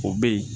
O bɛ yen